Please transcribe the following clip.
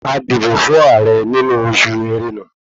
A dìbò fún ààrẹ nínú osù ẹ̀rẹ́na